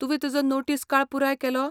तुवें तुजो नोटीस काळ पुराय केला?